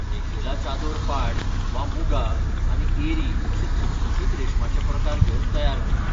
मेखेला चादोर पाट वा मुगा आनी एरी अशे चकचकीत रेशमाचे प्रकार घेवन तयार करतात.